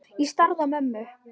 Ég starði á mömmu.